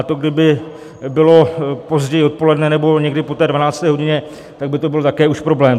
A to kdyby bylo později odpoledne nebo někdy po té 12. hodině, tak by to byl také už problém.